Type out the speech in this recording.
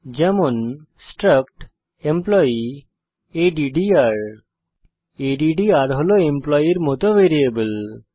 যেমন struct employee আদ্দ্র আদ্দ্র হল এমপ্লয়ের মত ভ্যারিয়েবল